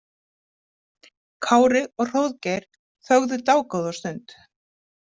Kári og Hróðgeir þögðu dágóða stund.